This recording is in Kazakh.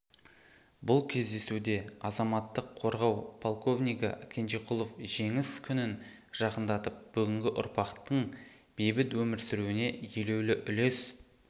бұл кездесуде азаматтық қорғау полковнигі кенжекулов жеңіс күнін жақындатып бүгінгі ұрпақтың бейбіт өмір сүруіне елеулі үлес